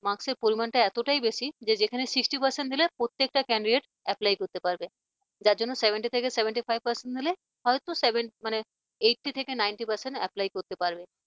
marks সের পরিমাণটা এতটাই বেশি যে যেখানে sixty percent দিলে প্রত্যেকটা candidate apply করতে পারবে যার জন্য seventy থেকে seventy five percent দিলে হয়তো seventy মানে eighty ninety percent apply করতে পারবে